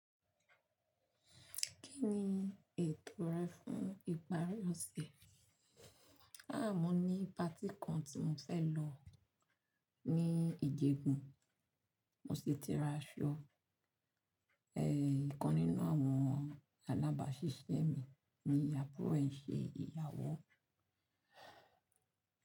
Kí ni ètò rẹ fún ìparí ọ̀sẹ̀? À mọ́ ní patí kan tí mo fẹ́ lọ ní ejigbo, mo sì ti ra aṣọ. É, ìkan nínú àwọn alábàáṣiṣẹ́ mi ni àbúrò ẹ́ ń ṣe ìyàwó.